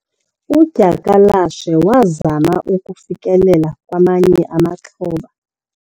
udyakalashe wazama ukufikelela kwamanye amaxhoba